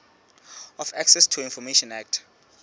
of access to information act